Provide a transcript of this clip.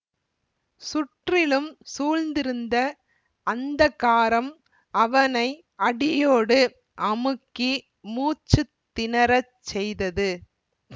சுற்றிலும் சூழ்ந்திருந்த அந்தகாரம் அவனை அடியோடு அமுக்கி மூச்சு திணறச் செய்தது